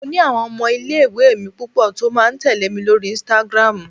mo ni awon ọmọ ile iwe mi pupo ti o ma tẹle mi lori Instagram